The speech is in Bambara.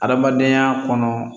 Adamadenya kɔnɔ